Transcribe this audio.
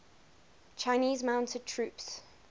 chinese mounted troops